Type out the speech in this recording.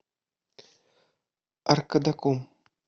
аркадаком